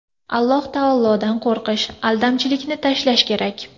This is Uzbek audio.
Alloh taolodan qo‘rqish, aldamchilikni tashlash kerak.